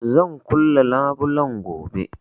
Zan kulle labulen gobe